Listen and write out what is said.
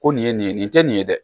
Ko nin ye nin ye nin tɛ nin ye dɛ